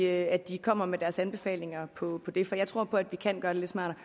at at de kommer med deres anbefalinger på det område for jeg tror på at vi kan gøre det lidt smartere